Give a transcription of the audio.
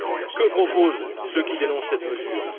Que proposent ceux qui dénoncent cette mesure?